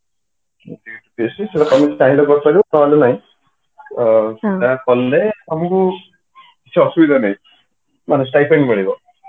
ସେଇଟା ତମେ ଚାହିଁଲେ କରିପାରିବ ନହେଲେ ନାଇଁ ସେଇଟା କଲେ ତମକୁ କିଛି ଅସୁବିଧା ନାହିଁ ମାନେ stipend ମିଳିବ